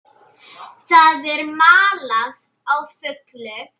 Það er malað á fullu.